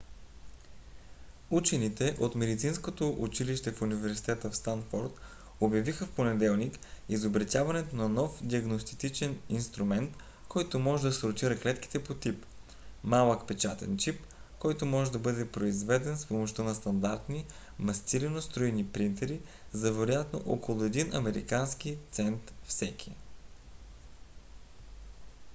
учените от медицинското училище в университета в станфод обявиха в понеделник изобретяването на нов диагностичен инструмент който може да сортира клетките по тип: малък печатен чип който може да бъде произведен с помощта на стандартни мастилено-струйни принтери за вероятно около един американски цент всеки